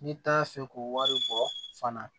N'i t'a fɛ k'o wari bɔ fana